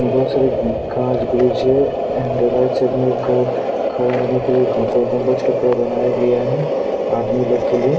और बहुत सारे कांच ब्रिज है एंड राईट साइड में एक घो खड़ा होने के लिए गोल गुम्बज की तरह बनाया गया है आदमी लोग के लिए--